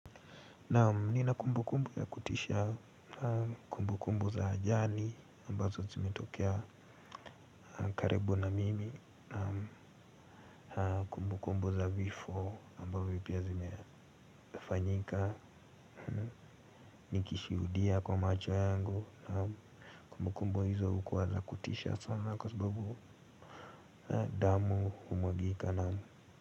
Naam nina kumbu kumbu ya kutisha kumbu kumbu za ajali ambazo zimetokea karibu na mimi. Na kumbu kumbu za vifo ambavyo pia zimefanyika. Nikishuhudia kwa macho yangu na kumbu kumbu hizo hukuwa za kutisha sana kwa sababu damu umwagika na.